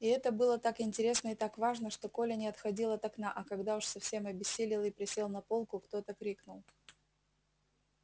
и это было так интересно и так важно что коля не отходил от окна а когда уж совсем обессилел и присел на полку кто-то крикнул